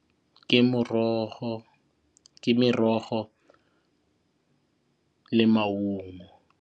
Ke merogo le maungo.